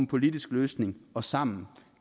politisk løsning og sammen